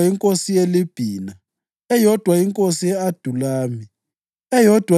inkosi yeLibhina, eyodwa inkosi ye-Adulami, eyodwa